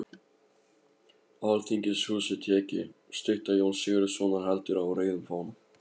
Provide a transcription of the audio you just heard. Alþingishúsið tekið, stytta Jóns Sigurðssonar heldur á rauðum fána